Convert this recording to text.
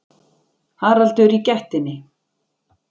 Haraldur í gættinni.